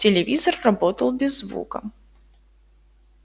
телевизор работал без звука